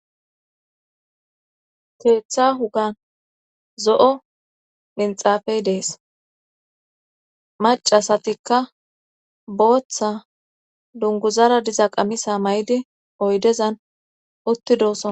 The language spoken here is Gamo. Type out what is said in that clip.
Keetha wugan zo'o minxafey dees macasatikka booththa dunguzara diza qamisa may7di oydezan utti dooso